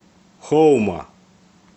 хоума